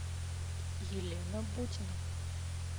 елена бутина